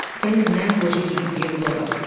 Gəlin mən qoca Yediqeyə qulaq assın.